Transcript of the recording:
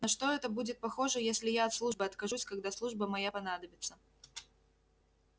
на что это будет похоже если я от службы откажусь когда служба моя понадобится